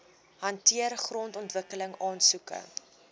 hanteer grondontwikkeling aansoeke